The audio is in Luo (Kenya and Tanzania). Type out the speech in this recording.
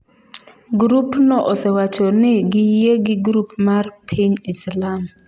Grupno osewacho ni giyie gi grup mar piny Islam.